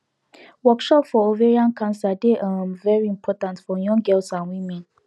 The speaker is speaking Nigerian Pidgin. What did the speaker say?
workshop for ovarian cancer dey um very important for young girls and women